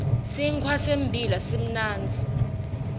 sinkhwa sembila simnandzi